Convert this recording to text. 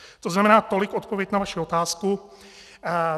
To znamená, tolik odpověď na vaši otázku.